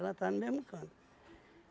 Ela estava no mesmo canto.